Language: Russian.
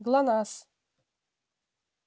глонассс